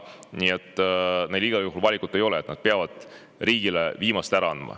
Nii et neil igal juhul valikut ei ole, nad peavad riigile viimase ära andma.